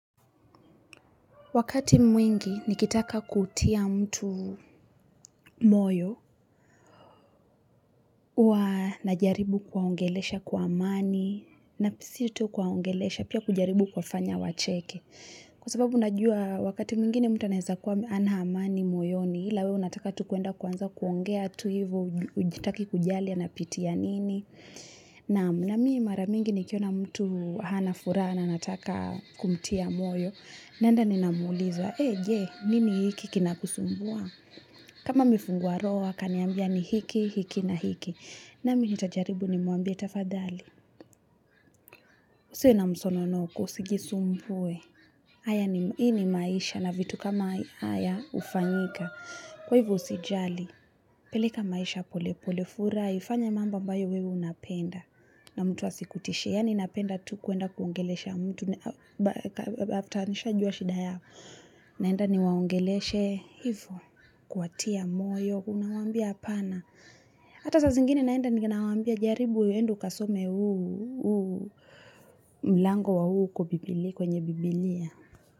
Wakati mwingi nikitaka kutia mtu moyo, hua najaribu kuwaongelesha kwa amani, na pia sio tu kuwaongelesha, pia kujaribu kuwafanya wacheke. Kwa sababu unajua wakati mwingine mtu anaeza kuwa hana amani moyoni ila, wewe unataka tu kuenda kuanza kuongea tu hiyvo, hautaki kujali anapitia nini. Naam, na mimi mara mingi nikiona mtu hana furaha na nataka kumtia moyo, naenda ninamuliza, ee je? Nini iki kinakusumbua. Kama amefungua roho, akaniambia ni hiki, hiki na hiki. Na mimi nitajaribu nimwambie, "'tafadhali usiwe na msononoko usijisumbue, hii ni maisha na vitu kama haya hufanyika. Kwa hivyo usijali, peleka maisha pole pole furahi, fanya mambo ambayo wewe unapenda." Na mtu asikutishe, yaani napenda tu kuenda kuongeleisha mtu, "after" nishajua shida yao. Naenda niwaongeleisha hivyo. Kuwatia moyo, unawaambia "hapana!". Hata saa zingine naenda ni nawambia," jaribu, enda ukasome huu uu". Mlango wa uu kwenye biblia.